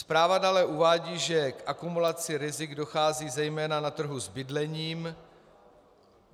Zpráva dále uvádí, že k akumulaci rizik dochází zejména na trhu s bydlením.